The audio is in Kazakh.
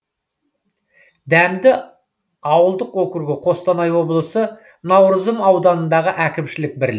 дәмді ауылдық округі қостанай облысы наурызым ауданындағы әкімшілік бірлік